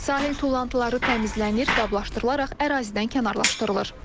Sahil tullantıları təmizlənir, qablaşdırılaraq ərazidən kənarlaşdırılır.